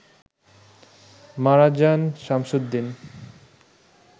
মারা যান শামসুদ্দিন